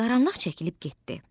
Qaranlıq çəkilib getdi.